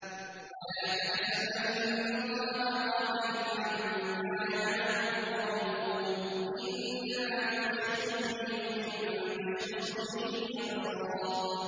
وَلَا تَحْسَبَنَّ اللَّهَ غَافِلًا عَمَّا يَعْمَلُ الظَّالِمُونَ ۚ إِنَّمَا يُؤَخِّرُهُمْ لِيَوْمٍ تَشْخَصُ فِيهِ الْأَبْصَارُ